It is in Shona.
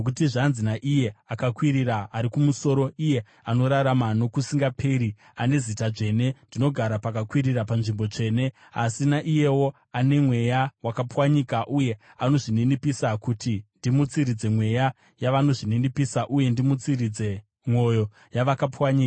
Nokuti zvanzi naIye akakwirira ari kumusoro, iye anorarama nokusingaperi, ane zita dzvene: “Ndinogara pakakwirira panzvimbo tsvene, asi naiyewo ane mweya wakapwanyika uye anozvininipisa, kuti ndimutsiridze mweya yavanozvininipisa uye ndimutsiridze mwoyo yavakapwanyika.